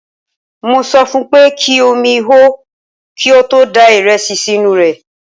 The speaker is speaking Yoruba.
Mo sọ fun pé kí omi hó kí ó tó da ìrẹsì sínú rẹ̀.